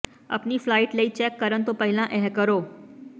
ਆਪਣੇ ਫਲਾਈਟ ਲਈ ਚੈੱਕ ਕਰਨ ਤੋਂ ਪਹਿਲਾਂ ਇਹ ਕਰੋ